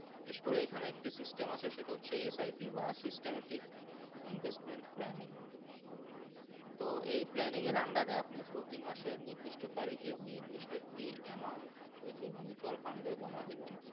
বিশেষ করে এখানে একটা System আছে সেটা হচ্ছে SIT বা System এ Investment Planning তো এই Planning এর Under এ আপনি প্রতি মাসে নির্দিষ্ট তারিখএ নির্দিষ্ট একটা Amount ওই যে Mutual Fund এ জাম দিবেন।